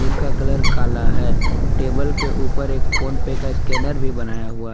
इसका कलर काला है टेबल के ऊपर एक फोन पर का स्कैनर भी बनाया हुआ--